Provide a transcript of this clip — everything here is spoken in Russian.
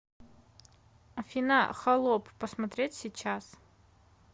афина холоп посмотреть сейчас